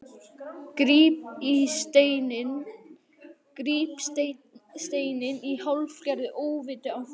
Gríp steininn í hálfgerðu óviti af borðinu.